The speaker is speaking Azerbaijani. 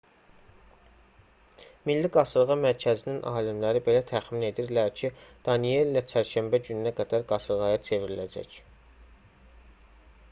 milli qasırğa mərkəzinin alimləri belə təxmin edirlər ki danielle çərşənbə gününə qədər qasırğaya çevriləcək